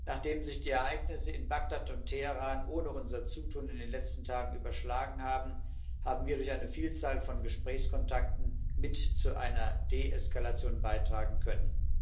Nachdem sich die Ereignisse in Bagdad und Teheran ohne unser Zutun in den letzten Tagen überschlagen haben, haben wir durch eine Vielzahl von Gesprächskontakten mit zu einer Deeskalation beitragen können.